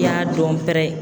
I y'a dɔn pɛrɛ